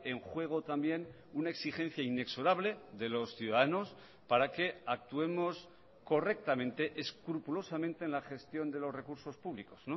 en juego también una exigencia inexorable de los ciudadanos para que actuemos correctamente escrupulosamente en la gestión de los recursos públicos